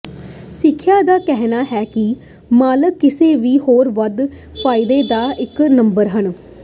ਸਮੀਖਿਆ ਦਾ ਕਹਿਣਾ ਹੈ ਦੇ ਮਾਲਕ ਕਿਸੇ ਵੀ ਹੋਰ ਵੱਧ ਫਾਇਦੇ ਦਾ ਇੱਕ ਨੰਬਰ ਹਨ